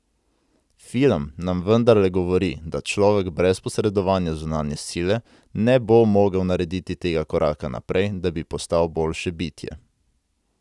Film nam vendarle govori, da človek brez posredovanja zunanje sile ne bo mogel narediti tega koraka naprej, da bi postal boljše bitje.